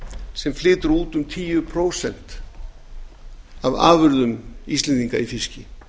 sem flytur út um tíu prósent af afurðum íslendinga í fiski